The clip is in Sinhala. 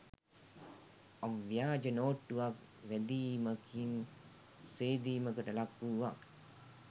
අව්‍යාජ නෝට්ටුවක් වැදීමකින් සේදීමකට ලක්වුවත්